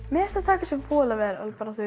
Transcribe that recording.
mér finnst þau taka þessu voðalega vel